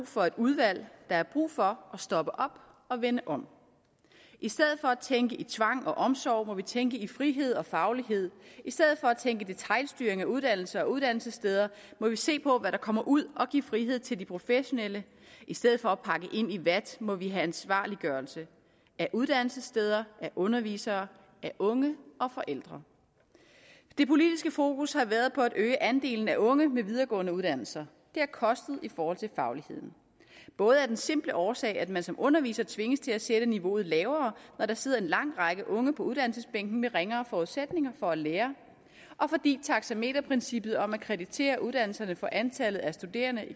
for et udvalg der er brug for at stoppe op og vende om i stedet for at tænke i tvang og omsorg må vi tænke i frihed og faglighed i stedet for at tænke detailstyring af uddannelser og uddannelsessteder må vi se på hvad der kommer ud og give frihed til de professionelle i stedet for at pakke ind i vat må vi have ansvarliggørelse af uddannelsessteder af undervisere af unge og forældre det politiske fokus har været på at øge andelen af unge med videregående uddannelser det har kostet i forhold til fagligheden både af den simple årsag at man som underviser tvinges til at sætte niveauet lavere når der sidder en lang række unge på uddannelsesbænken med ringere forudsætninger for at lære og fordi taxameterprincippet om at kreditere uddannelserne for antallet af studerende